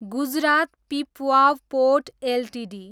Gujarat Pipavav port Ltd